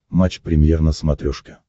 матч премьер на смотрешке